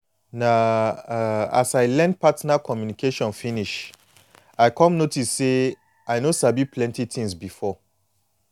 na um as i learn partner communication finish i come notice say i no sabi plenty things before